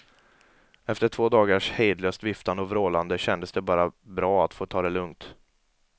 Efter två dagars hejdlöst viftande och vrålande kändes det bara bra att få ta det lugnt.